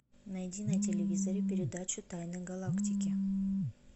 найди на телевизоре передачу тайны галактики